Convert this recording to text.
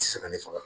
Ti se ka ne faga